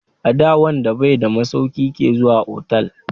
Ada wanda bai da masauki ke zuwa otal.